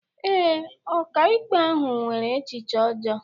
Ee, ọkàikpe ahụ nwere echiche ọjọọ